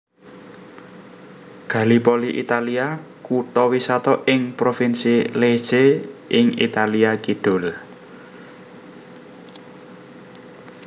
Gallipoli Italia kutha wisata ing provinsi Lecce ing Italia kidul